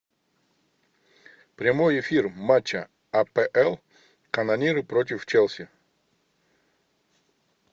прямой эфир матча апл канониры против челси